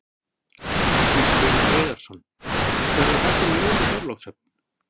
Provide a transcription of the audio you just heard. Magnús Hlynur Hreiðarsson: Verða haldin jól í Þorlákshöfn?